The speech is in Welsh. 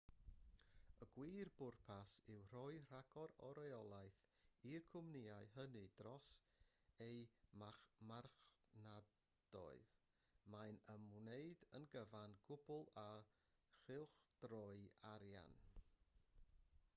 y gwir bwrpas yw rhoi rhagor o reolaeth i'r cwmnïau hynny dros eu marchnadoedd mae'n ymwneud yn gyfan gwbl â chylchdroi arian